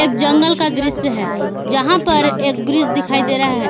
जंगल का दृश्य है जहां पर एक ब्रिज दिखाई दे रहा है।